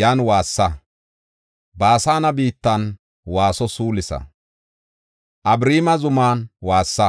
yan waassa. Baasane biittan waaso suulisa; Abariima zuman waassa.